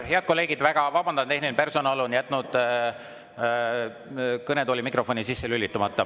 Head kolleegid, väga vabandan, tehniline personal on jätnud kõnetooli mikrofoni sisse lülitamata.